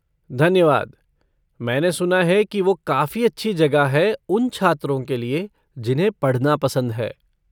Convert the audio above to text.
धन्यवाद, मैंने सुना है कि वो काफ़ी अच्छी जगह है उन छात्रों के लिए जिन्हें पढ़ना पसंद है।